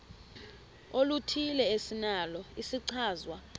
oluthile esinalo isichazwa